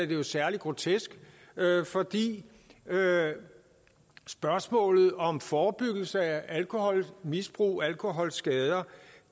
det jo særlig grotesk fordi spørgsmålet om forebyggelse af alkoholmisbrug og alkoholskader